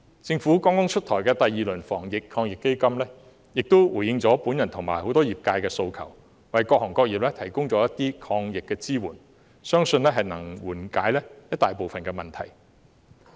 政府剛剛出台的第二輪防疫抗疫基金亦回應了我和很多業界人士的訴求，為各行各業提供了一些抗疫支援，相信能夠緩解一大部分的問題。